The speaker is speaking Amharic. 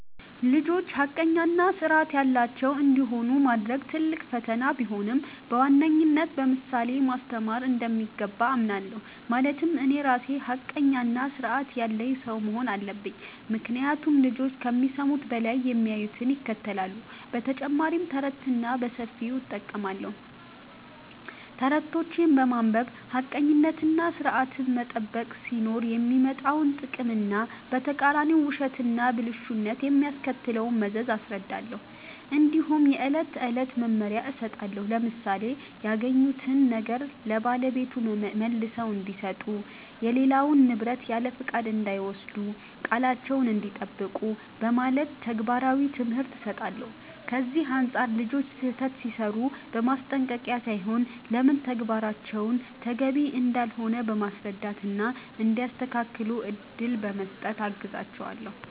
ልጆች ሐቀኛ እና ሥርዐት ያላቸው እንዲሆኑ ማድረግ ትልቅ ፈተና ቢሆንም፣ በዋነኝነት በምሳሌ ማስተማር እንደሚገባ አምናለሁ። ማለትም እኔ ራሴ ሐቀኛና ሥርዐት ያለኝ ሰው መሆን አለብኝ፤ ምክንያቱም ልጆች ከሚሰሙት በላይ የሚያዩትን ይከተላሉ። በተጨማሪም ተረትን በሰፊው እጠቀማለሁ። ተረቶችን በማንበብ ሐቀኝነትና ሥርዐትን መጠበቅ ሲኖር የሚመጣውን ጥቅም እና በተቃራኒው ውሸትና ብልሹነት የሚያስከትለውን መዘዝ አስረዳለሁ። እንዲሁም የዕለት ተዕለት መመሪያ እሰጣለሁ፣ ለምሳሌ “ያገኙትን ነገር ለባለቤቱ መልሰው እንዲሰጡ”፣ “የሌላውን ንብረት ያለፍቃድ እንዳይወስዱ”፣ “ቃላቸዉን እንዲጠብቁ ” በማለት ተግባራዊ ትምህርት እሰጣለሁ። ከዚህ አንጻር ልጆች ስህተት ሲሠሩ በማስጠንቀቅ ሳይሆን ለምን ተግባራቸው ተገቢ እንዳልሆነ በማስረዳት እና እንዲያስተካክሉ እድል በመስጠት አግዛቸዋለሁ።